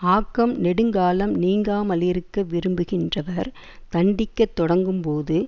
ஆக்கம் நெடுங்காலம் நீங்காமலிருக்க விரும்புகின்றவர் தண்டிக்கத் தொடங்கும் போது